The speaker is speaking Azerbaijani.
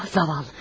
Vah, zavallı.